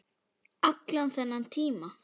Allan þennan tíma.